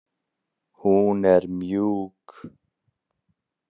Hún er mjúk.